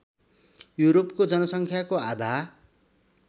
युरोपको जनसँख्याको आधा